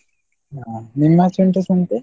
ಆ ನಿಮ್ಮಾಚೆ ಉಂಟ ಸಂತೆ?